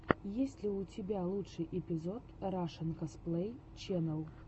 есть ли у тебя лучший эпизод рашэн косплей ченел